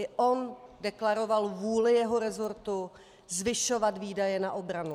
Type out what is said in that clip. I on deklaroval vůli jeho resortu zvyšovat výdaje na obranu.